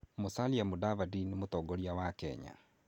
Musalia Mudavadi nĩ mũtongoria wa Kenya.